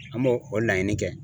An b'o o laɲini kɛ